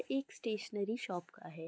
एक stationery shop का है।